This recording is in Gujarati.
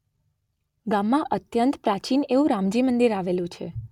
ગામમાં અત્યંત પ્રાચીન એવું રામજી મંદિર અાવેલું છે.